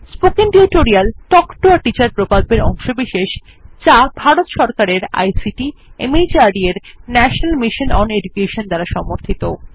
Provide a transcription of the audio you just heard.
spoken tutorial talk to a teacher প্রকল্পের অংশবিশেষ যা ভারত সরকারের আইসিটি মাহর্দ এর ন্যাশনাল মিশন ওন এডুকেশন দ্বারা সমর্থিত